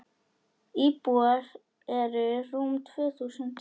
Íbúar eru rúm tvö þúsund.